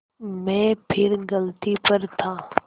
मैं फिर गलती पर था